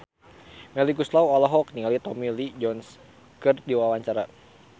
Melly Goeslaw olohok ningali Tommy Lee Jones keur diwawancara